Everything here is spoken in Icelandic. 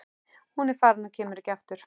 Hún er farin og kemur ekki aftur.